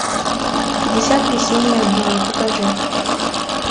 пятьдесят весенних дней покажи